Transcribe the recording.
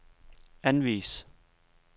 anvis